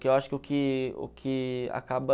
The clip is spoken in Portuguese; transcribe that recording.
Que eu acho que o que o que acaba...